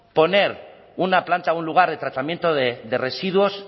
poner una planta un lugar de tratamiento de residuos